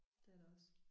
Det er det også